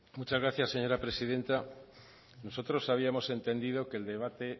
muchas gracias señora presidenta nosotros habíamos entendido que el debate